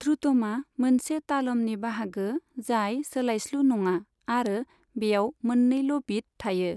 ध्रुथमआ मोनसे तालमनि बाहागो जाय सोलायस्लु नङा आरो बेयाव मोननैल' बिट थायो।